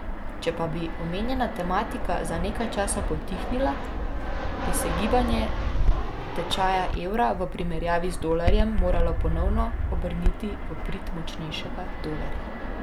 Če pa bi omenjena tematika za nekaj časa potihnila, bi se gibanje tečaja evra v primerjavi z dolarjem moralo ponovno obrniti v prid močnejšega dolarja.